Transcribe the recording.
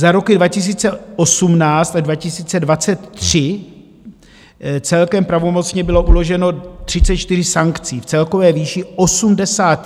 Za roky 2018 až 2023 celkem pravomocně bylo uloženo 34 sankcí v celkové výši 81 milionů korun;